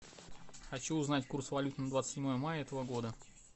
хочу узнать курс валют на двадцать седьмое мая этого года